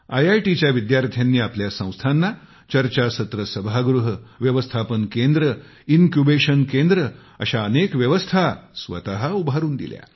आयआयटीच्या विद्यार्थ्यांनी आपल्या संस्थांना चर्चासत्र सभागृह व्यवस्थापन केंद्र इनक्युबेशन केंद्र अशा अनेक व्यवस्था स्वतः उभारून दिल्या